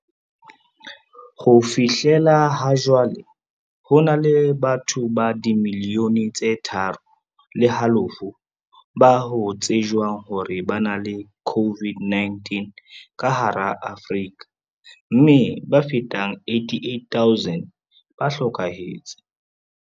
Ho fihlela hajwale, ho na le batho ba dimiliyone tse tharo le halofo ba ho tsejwang hore ba na le COVID-19 ka hara Afrika, mme ba fetang 88 000 ba hlokahetse.